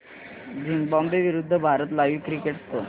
Zimbabwe विरूद्ध Bharat live cricket score